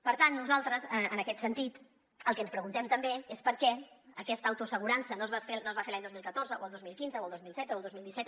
per tant nosaltres en aquest sentit el que ens preguntem també és per què aquesta autoassegurança no es va fer l’any dos mil catorze o el dos mil quinze o el dos mil setze o el dos mil disset